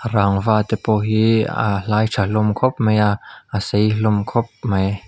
rangva te pawh hi aa hlai tha hlawm khawp mai a a sei hlawm khawp mai.